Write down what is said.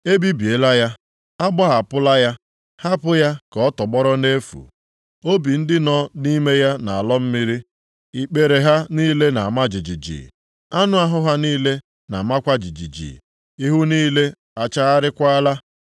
E bibiela ya. A gbahapụla ya, hapụ ya ka ọ tọgbọrọ nʼefu. Obi ndị nọ nʼime ya na-alọ mmiri, ikpere ha niile na-ama jijiji, anụ ahụ ha niile na-amakwa jijiji, ihu niile achagharịakwala.